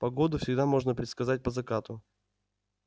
погоду всегда можно предсказать по закату